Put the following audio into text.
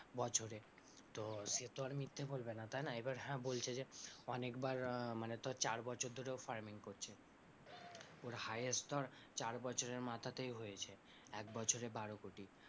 বছরে তো সেতো আর মিথ্যে বলবে না তাই না, এবার হ্যাঁ বলছে যে অনেকবার মানে তোর বছর ধরে ও farming করছে, ওর highest ধর চার বছরের মাথাতেই হয়েছে, একবছরে বারো কোটি,